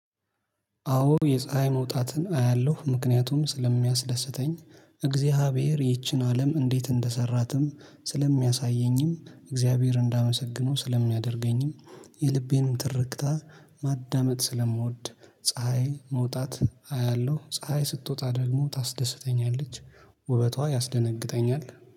አዎ የፀሀይ መውጣትን አያለሁ ምክንያቱም ስለሚያስደስተኝ እግዚአብሔር ይህችን አለም እንዴት እንደሰራትም ስለሚያሳየኝም እግዚአብሔር እንዳመሰግነው ስለሚያደርገኝም የልቤንም ትርክታ ማዳመጥ ስለምወድ ፀሀይ መውጣት አያለሁ ፀሀይ ስትወጣ ደግሞ ታስደስተኛለች። ውበቷ ያስደነግጠኛል